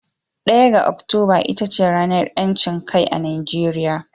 1 ga Oktoba ita ce ranar ‘yancin kai a Najeriya.